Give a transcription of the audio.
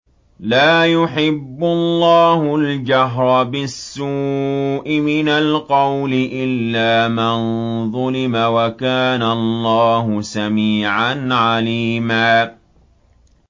۞ لَّا يُحِبُّ اللَّهُ الْجَهْرَ بِالسُّوءِ مِنَ الْقَوْلِ إِلَّا مَن ظُلِمَ ۚ وَكَانَ اللَّهُ سَمِيعًا عَلِيمًا